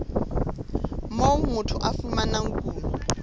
moo motho a fumanang kuno